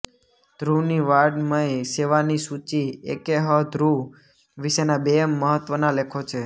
ધ્રુવની વાઙ્ મય સેવાની સૂચિ એ કે હ ધ્રુવ વિશેના બે મહત્વના લેખો છે